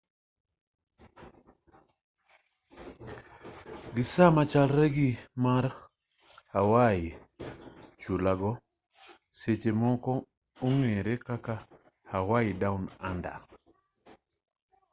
gi sama machalre gi mar hawaii chulago seche moko ong'ere kaka hawaii down under